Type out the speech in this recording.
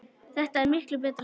Þetta er miklu betra svona.